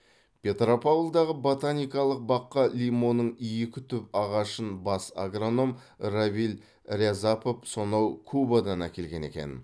петропавлдағы ботаникалық баққа лимонның екі түп ағашын бас агроном равиль рязапов сонау кубадан әкелген екен